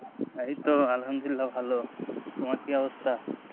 এই তো আলহামদুলিল্লাহ ভালো, তোমার কি অবস্থা?